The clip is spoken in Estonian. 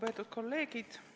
Aitäh kõigile kolleegidele!